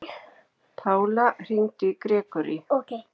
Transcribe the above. Pála, hringdu í Grégory.